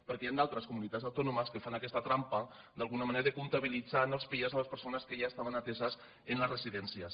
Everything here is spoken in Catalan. perquè hi han altres comunitats autònomes que fan aquesta trampa d’alguna manera de comptabilitzar en els pia les persones que ja estaven ateses en les residències